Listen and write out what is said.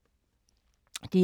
DR2